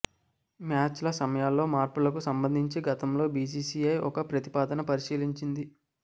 మ్యాచ్ల సమయాల్లో మార్పులకు సంబంధించి గతంలో బీసీసీఐ ఒక ప్రతిపాదన పరిశీలించింది